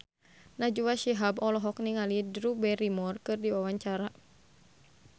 Najwa Shihab olohok ningali Drew Barrymore keur diwawancara